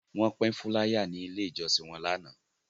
Wọ́n pín fúláyà ní Ilé-ìjọsìn wọn lánàá.